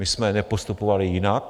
My jsme nepostupovali jinak.